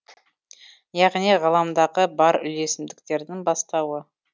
яғни ғаламдағы бар үйлесімдіктердің бастауы